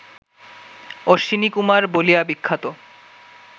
অশ্বিনীকুমার বলিয়া বিখ্যাত